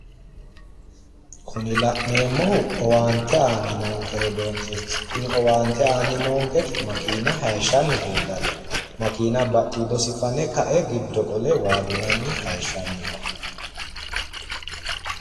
Kuni la'neemmohu owaante aanni noonke rodoonkeeti kunino owaante aanni noonketei makeena hayishshanni leellanno makiina badhiidosi fane ka"e giddo qole waa dunanni no